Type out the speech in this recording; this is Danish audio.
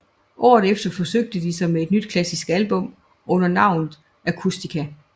Året efter forsøgte de sig med et nyt klassisk album under navnet Acoustica